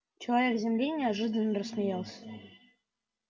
человек с земли неожиданно рассмеялся